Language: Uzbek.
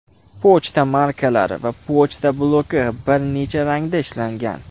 Pochta markalari va pochta bloki bir necha rangda ishlangan.